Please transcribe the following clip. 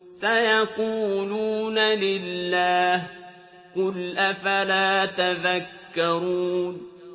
سَيَقُولُونَ لِلَّهِ ۚ قُلْ أَفَلَا تَذَكَّرُونَ